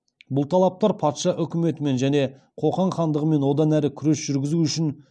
бұл талаптар патша үкіметімен және қоқан хандығымен одан әрі күрес жүргізу үшін